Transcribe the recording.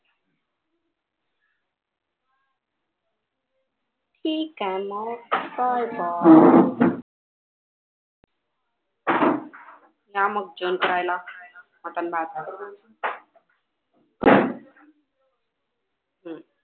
ठीक आहे मग कर call या मग जेवण करायला, मटण भात वाढून आणते